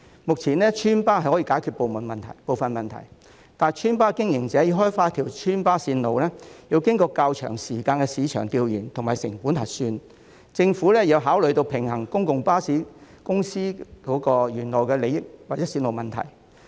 目前村巴/邨巴可以解決部分問題，但村巴/邨巴經營者要開發一條村巴/邨巴路線，要經過較長時間的市場調研及成本核算，政府亦要考慮平衡專營巴士公司原有利益或路線問題。